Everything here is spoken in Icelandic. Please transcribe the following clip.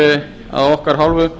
er af okkar hálfu